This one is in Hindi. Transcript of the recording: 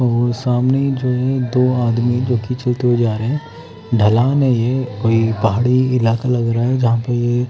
और सामने ही जो है दो आदमी जो कि चलते हुए जा रहे हैं ढलान है ये कोई पहाड़ी इलाका लग रहा है जहाँपर ये --